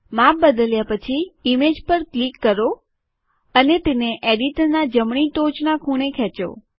માપ બદલ્યા પછી ઇમેજ પર ક્લિક કરો અને તેને એડિટરનાં જમણી ટોચનાં ખૂણે ખેંચો